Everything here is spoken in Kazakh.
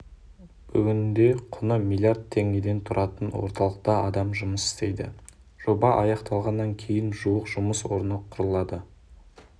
бүгінде құны миллиард теңге тұратын орталықта адам жұмыс істейді жоба аяқталғаннан кейін жуық жұмыс орны құрылады